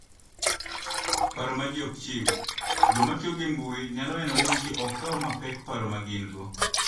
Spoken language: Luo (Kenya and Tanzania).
Paro ma Ji Ok Chiw: Joma tiyo gi Intanet nyalo neno ni ji ok kaw mapek paro ma gin - go.